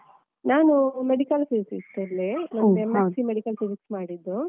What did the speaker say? ನಾನು Medical Physics ಅಲ್ಲೆ ನಾನು M.sc Medical Physics ಮಾಡಿದ್ದು.